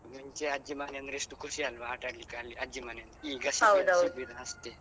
ಮುಂಚೆ ಅಜ್ಜಿ ಮನೆ ಅಂದ್ರೆ ಎಷ್ಟು ಖುಷಿ ಅಲ್ವಾ ಆಟಾಡ್ಲಿಕ್ಕೆ ಅಲ್ಲಿ ಅಜ್ಜಿ ಮನೆ ಅಂದ್ರೆ ಈಗ ಶಿಬಿರ ಅಷ್ಟೆ.